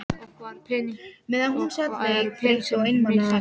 Og hvar eru peningarnir sem ég millifærði?